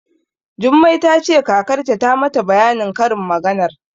Jummai ta ce kakarta ta mata bayanin karin maganar.